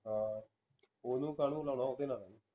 ਹਾਂ ਓਹਨੂੰ ਕਾਹਨੂੰ ਲਾਣਾ ਓਹਦੇ ਨਾਲ